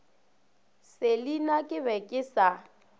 selina ke be ke sa